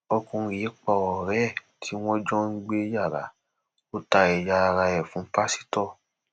ọkùnrin yìí pa ọrẹ ẹ tí wọn jọ ń gbé yàrá ó ta ẹyà ara ẹ fún pásítọ